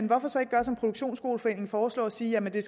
hvorfor så ikke gøre som produktionsskoleforeningen foreslår og sige at det